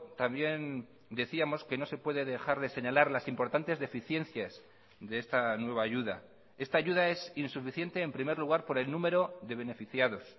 también decíamos que no se puede dejar de señalar las importantes deficiencias de esta nueva ayuda esta ayuda es insuficiente en primer lugar por el número de beneficiados